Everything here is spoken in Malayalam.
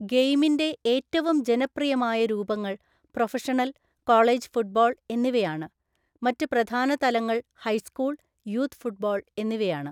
ഗെയിമിന്റെ ഏറ്റവും ജനപ്രിയമായ രൂപങ്ങൾ പ്രൊഫഷണൽ, കോളേജ് ഫുട്ബോൾ എന്നിവയാണ്, മറ്റ് പ്രധാന തലങ്ങൾ ഹൈസ്കൂൾ, യൂത്ത് ഫുട്ബോൾ എന്നിവയാണ്.